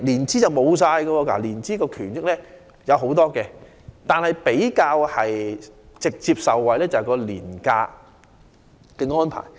涉及年資的權益有很多，而員工能直接受惠的權益便是年假安排。